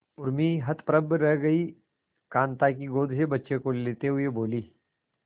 उर्मी हतप्रभ रह गई कांता की गोद से बच्चे को लेते हुए बोली